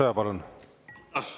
Aitäh!